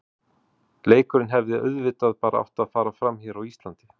Leikurinn hefði auðvitað bara átt að fara fram hér á Íslandi.